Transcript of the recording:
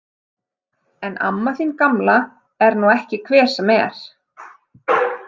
En amma þín gamla er nú ekki hver sem er.